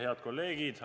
Head kolleegid!